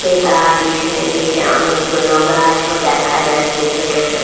এ তার পিছনের দিকে অনেকগুলো গাছও দেখা যাচ্ছে ছোট ছো --